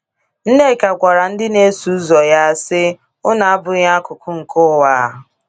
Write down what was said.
Nneka gwara ndị na - eso ụzọ ya, sị: “ Unu abụghị akụkụ nke ụwa. ”